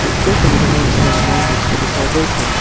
উক্ত ছবিখনত এটা ৰুমৰ দৃশ্য দেখুওৱা গৈছে।